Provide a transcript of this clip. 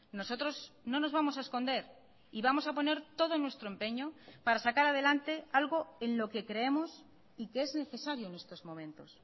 nosotros no nos vamos a esconder y vamos a poner todo nuestro empeño para sacar adelante algo en lo que creemos y que es necesario en estos momentos